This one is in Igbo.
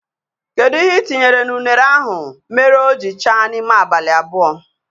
Kedu ihe itinyere na unere ahụ mere o jiri chaa n'ime abalị abụọ?